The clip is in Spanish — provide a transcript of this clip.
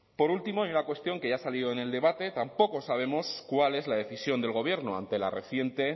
por último hay una cuestión que ya ha salido en el debate tampoco sabemos cuál es la decisión del gobierno ante la reciente